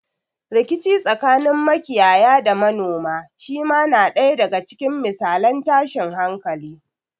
Rikici tsakanin makiyaya da manoma shi ma na ɗaya daga cikin misalan tashin hankali.